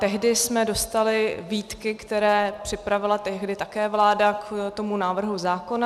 Tehdy jsme dostali výtky, které připravila tehdy také vláda k tomu návrhu zákona.